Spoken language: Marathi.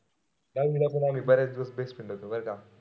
दहावीला पण आम्ही बरेच दिवस best friend होतो बरं का.